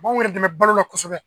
B'anw yɛrɛ dɛmɛ balo la kosɛbɛ